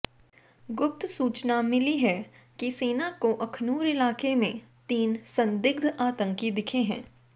गुप्त सूचना मिली है कि सेना को अखनूर इलाके में तीन संदिग्धा आतंकी दिखे हैं